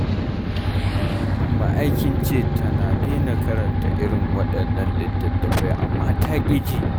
Umma ai kin ce tana daina karanta irin waɗannan littattafai amma ta ƙi ji.